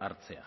hartzea